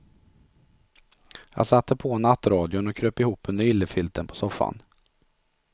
Jag satte på nattradion och kröp ihop under yllefilten på soffan.